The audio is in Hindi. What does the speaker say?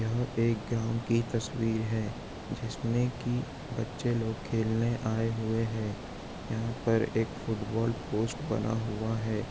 यह एक ग्राउंड की तस्वीर है जिसमें की बच्चे लोग खेलने आये हुए है यहा पर एक फुटबोल पोस्ट बना हुआ है।